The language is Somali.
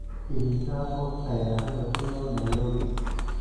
imisa qof ayaa hadda ku nool nairobi